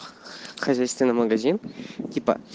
хозяйственный магазин типа